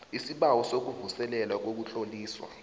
isibawo sokuvuselelwa kokutloliswa